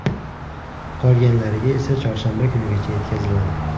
Qolganlariga esa chorshanba kunigacha yetkaziladi.